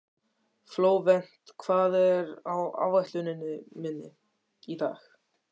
Flóvent, hvað er á áætluninni minni í dag?